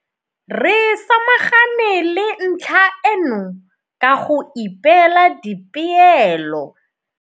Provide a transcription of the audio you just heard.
Re samagane le ntlha eno ka go ipeela dipeelo.